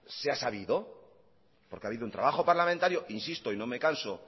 se ha sabido porque ha habido un trabajo parlamentario insisto y no me canso